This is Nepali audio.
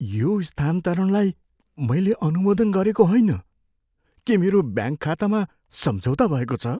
यो स्थानान्तरणलाई मैले अनुमोदन गरेको होइन। के मेरो ब्याङ्क खातामा सम्झौता भएको छ?